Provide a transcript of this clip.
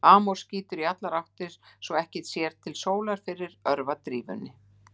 Amor skýtur í allar áttir svo að ekki sér til sólar fyrir örvadrífunni.